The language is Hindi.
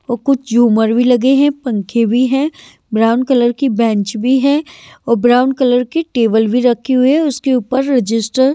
और कुछ झूमर भी लगे हैं पंखे भी हैं ब्राउन कलर की बेंच भी है और ब्राउन कलर की टेबल भी रखी हुई है उसके ऊपर रजिस्टर --